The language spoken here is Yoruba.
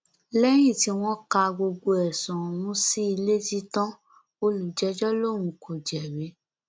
lẹyìn tí wọn ka gbogbo ẹsùn ọhún sí i létí tán olùjẹjọ lòun kò jẹbi